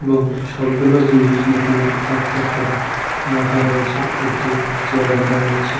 এবং সবগুলো জিনিস দোকানে থাক থাক করে রাখা রয়েছে একটি চেয়ার দেখা যাচ্ছে।